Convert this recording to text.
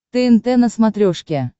тнт на смотрешке